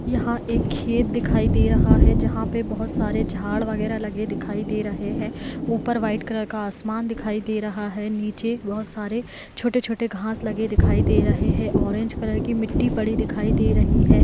यहा एक खेत दिखाई दे रहा हे जहा पे बहोत सारे झाड वगैरा दिखाई दे रहे हे ऊपर व्हाइट कलर आसमान दिखाई दे रहा हे नीचे बहोत सारे छोटे-छोटे घाँस लगे दिखाई दे रहे हे ऑरेंज कलर की मिट्टी पड़ी दिखाई दे रही हैं।